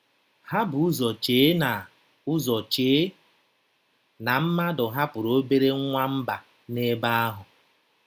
Ha bu ụzọ chee na ụzọ chee na mmadụ hapụrụ obere nwamba n'ebe ahụ.